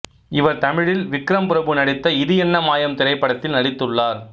இவர் தமிழில் விக்ரம் பிரபு நடித்த இது என்ன மாயம் திரைப்படத்தில் நடித்துள்ளார்